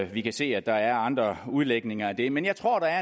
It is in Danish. vi kan se at der er andre udlægninger af det men jeg tror der